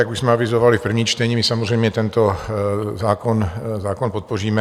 Jak už jsme avizovali v prvním čtení, my samozřejmě tento zákon podpoříme.